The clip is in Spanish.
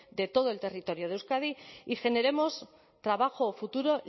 de todo el territorio de euskadi y generemos trabajo futuro